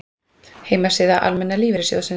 Heimasíða Almenna lífeyrissjóðsins